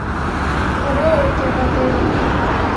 караоке в отеле